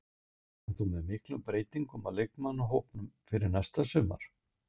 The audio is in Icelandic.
Reiknar þú með miklum breytingum á leikmannahópnum fyrir næsta sumar?